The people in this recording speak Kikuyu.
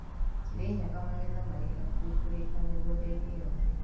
Kirinyaga magetha marĩ hakuhĩ kũrĩka mĩgũnda-inĩ yothe